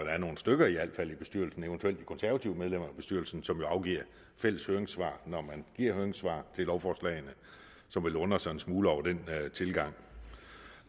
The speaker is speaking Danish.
er nogle stykker i bestyrelsen eventuelt de konservative medlemmer af bestyrelsen som afgiver fælles høringssvar når man giver høringssvar til lovforslagene som vil undre sig en smule over den tilgang